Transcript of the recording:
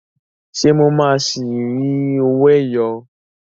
Ṣé mo máa ṣi rí owó ẹyọ?